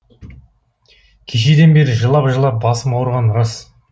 кешеден бері жылап жылап басым ауырғаны рас